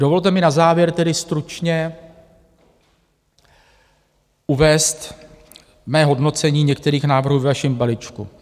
Dovolte mi na závěr tedy stručně uvést mé hodnocení některých návrhů ve vašem balíčku.